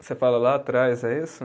Você fala lá atrás, é isso?